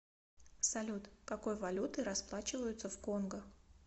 салют какой валютой расплачиваются в конго